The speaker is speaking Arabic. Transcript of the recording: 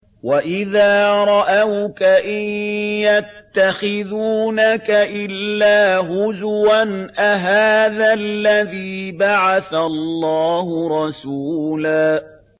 وَإِذَا رَأَوْكَ إِن يَتَّخِذُونَكَ إِلَّا هُزُوًا أَهَٰذَا الَّذِي بَعَثَ اللَّهُ رَسُولًا